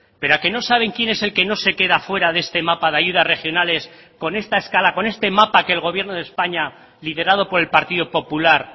pero a que no saben quién es el que no se queda fuera de este mapa de ayudas regionales con esta escala con este mapa que el gobierno de españa liderado por el partido popular